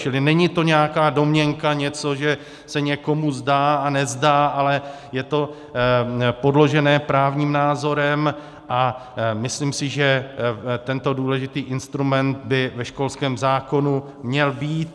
Čili to není nějaká domněnka, něco, že se někomu zdá a nezdá, ale je to podložené právním názorem a myslím si, že tento důležitý instrument by ve školském zákonu měl být.